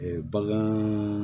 bagan